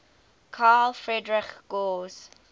carl friedrich gauss